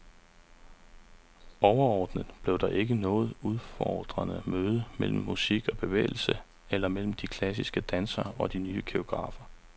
Overordnet blev det ikke noget udfordrende møde mellem musik og bevægelse, eller mellem de klassiske dansere og de nye koreografer.